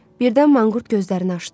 Birdən manqurt gözlərini açdı.